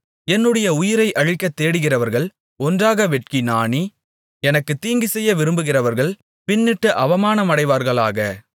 என்னுடைய உயிரை அழிக்கத் தேடுகிறவர்கள் ஒன்றாக வெட்கி நாணி எனக்குத் தீங்குசெய்ய விரும்புகிறவர்கள் பின்னிட்டு அவமானமடைவார்களாக